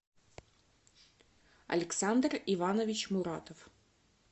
александр иванович муратов